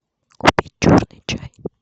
купить черный чай